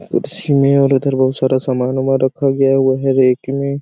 कुर्सी में और उधर बहुत सारा सामान वामन रखा गया है वहा रेक में --